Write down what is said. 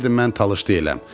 Deyirdi mən talış deyiləm.